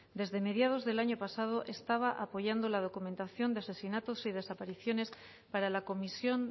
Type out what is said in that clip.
desde mediados del año pasado estaba apoyando la documentación de asesinatos y desapariciones para la comisión